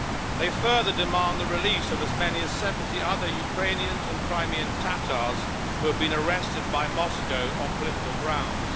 They further demand the release of as many as 70 other Ukrainians and Crimean Tatars who have been arrested by Moscow on political grounds.